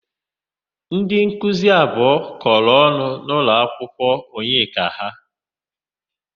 Ndịnkuzi abụọ kọrọ ọnụ n'ụlọakwụkwọ Onyeka ha.